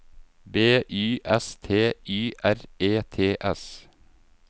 B Y S T Y R E T S